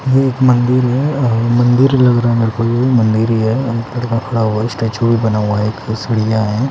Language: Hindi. ये एक मंदिर है अ मंदिर ही लग रहा मेरो को ये मंदिर ही है स्टैचू भी बना हुआ है एक सीढ़ियाँ हैं --